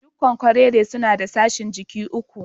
Dukan kwarere suna da sashin jiki uku.